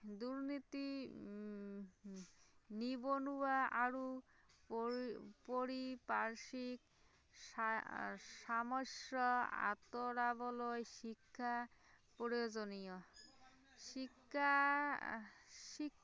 নিবনুৱা আৰু পৰি পাৰিপাৰ্শ্বিক সা আহ সমস্যা আহ আঁতৰাবলৈ শিক্ষা প্ৰয়োজনীয়, শিক্ষা আহ